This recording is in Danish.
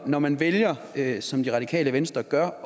når man vælger at gøre som det radikale venstre gør